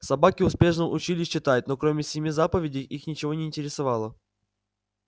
собаки успешно учились читать но кроме семи заповедей их ничего не интересовало